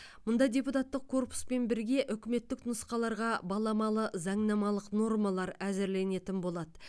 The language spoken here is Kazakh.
мұнда депутаттық корпуспен бірге үкіметтік нұсқаларға баламалы заңнамалық нормалар әзірленетін болады